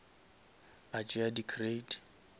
a tšea di crate